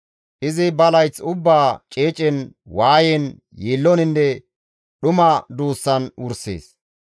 Izi ba layth ubbaa ceecen, waayen, yiilloninne dhuma duussan wursees.